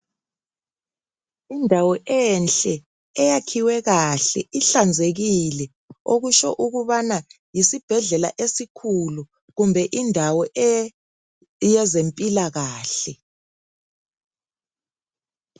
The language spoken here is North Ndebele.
Indawo enhle eyakhiwe kahle ihlanzekile okutsho ukubana yisibhedlela esikhulu kumbe indawo yezempilakahle.